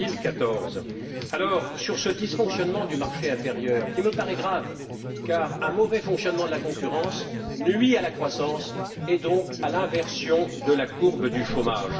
2014. Ce dysfonctionnement du marché intérieur me paraît grave car un mauvais fonctionnement de la concurrence nuit à la croissance et donc à l'inversion de la courbe du chômage.